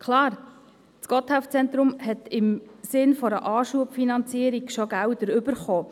Klar, das Gotthelf-Zentrum hat im Sinne einer Anschubfinanzierung bereits Gelder bekommen.